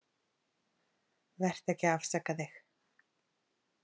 Vertu ekki að afsaka þig.